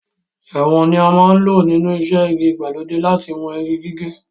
Ìwọ̀n ni a máa ń lò nínú iṣẹ́ igi ìgbàlódé láti wọn igi gígé.